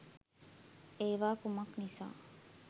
ඒවා කුමක් නිසා